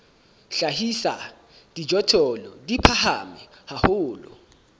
hlahisa dijothollo di phahame haholo